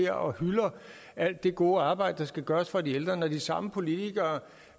her og hylder alt det gode arbejde der skal gøres for de ældre og når de samme politikere